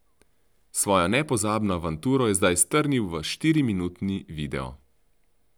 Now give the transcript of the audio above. Svojo nepozabno avanturo je zdaj strnil v štiriminutni video.